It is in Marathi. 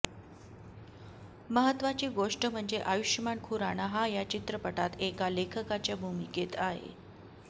महत्वाची गोष्ट म्हणजे आयुषमान खुराणा हा या चित्रपटात एका लेखकाच्या भूमिकेत आहे